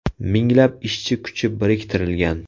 Minglab ishchi kuchi biriktirilgan.